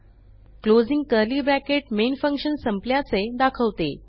closing curly bracket main function संपल्याचे दाखवते